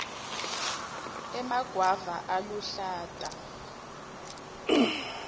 emagwava aluhlata